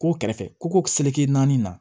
Ko kɛrɛfɛ ko ko naani na